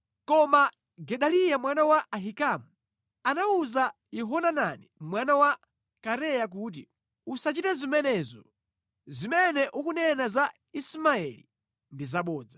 Koma Gedaliya mwana wa Ahikamu anawuza Yohanani mwana wa Kareya kuti, “Usachite zimenezo! Zimene ukunena za Ismaeli ndi zabodza.”